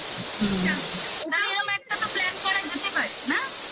হুম সামনে ওটা এরকম একটা তো plan করা যেতে পারে না